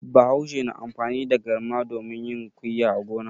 Bahaushe na amfani da garma domin yin kuyya a gona.